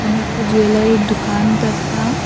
এখানে একটা জুয়েলারি -র দুকান দেখলাম।